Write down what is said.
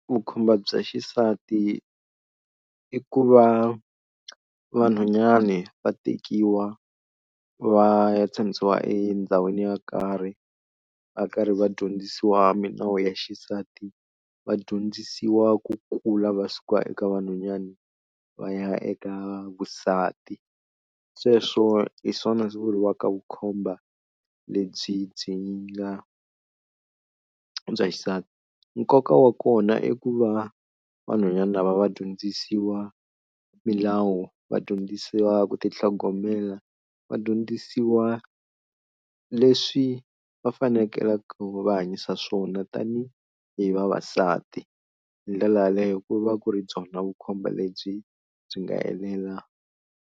Vukhomba bya xisati i ku va vanhwanyani va tekiwa va ya tshamisiwa endhawini yo karhi va karhi va dyondzisiwa milawu ya xisati va dyondzisiwa ku kula va suka eka vanhwanyani va ya eka vusati sweswo hi swona swi vuriwaka vukhomba lebyi byi nga bya xisati. Nkoka wa kona i ku va vanhwanyana lava va dyondzisiwa milawu, vadyondzisiwa ku ti tlhogomela, vadyondzisiwa leswi va faneleke va hanyisa swona tani hi vavasati. Hi ndlela yaleyo ku va ku ri byona vukhomba lebyi byi nga helela.